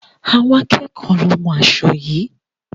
Àwọn akẹ́ẹ̀kọ lo hún aṣo yií.